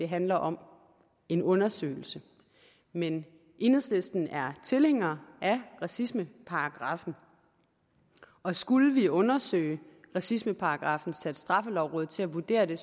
handler om en undersøgelse men enhedslisten er tilhænger af racismeparagraffen og skulle vi undersøge racismeparagraffen og sætte straffelovrådet til at vurdere den